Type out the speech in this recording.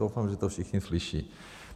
Doufám, že to všichni slyší.